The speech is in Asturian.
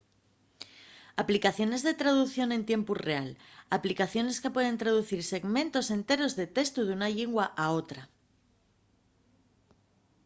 aplicaciones de traducción en tiempu real aplicaciones que pueden traducir segmentos enteros de testu d'una llingua a otra